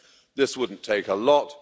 This wouldn't take a lot